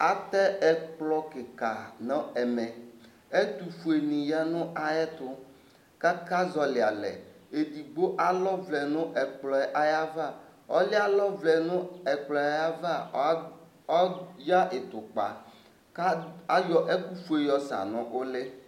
atɛ ɛkplɔ kiki nu ɛmɛ, ɛtu fue ni 'ya nu ay 'tu kaka zɔli alɛ Edigbo alɔ ʋlɛ nu ɛkplɔ yɛ ava ɔlu 'ɛ alɔ ʋlɛ nu ɛkplɔ yɛ 'ava ɔya ɩtu kpa ka ayɔ ɛku fue yɔ sa nu ulɩ